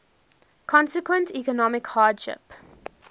consequent economic hardship